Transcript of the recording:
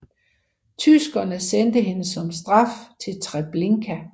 Tyskerne sendte hende som straf til Treblinka I